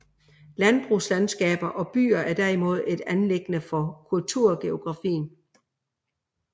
Landbrugslandskaber og byer er derimod et anliggende for kulturgeografien